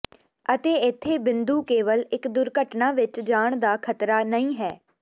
ਅਤੇ ਇੱਥੇ ਬਿੰਦੂ ਕੇਵਲ ਇੱਕ ਦੁਰਘਟਨਾ ਵਿੱਚ ਜਾਣ ਦਾ ਖਤਰਾ ਨਹੀਂ ਹੈ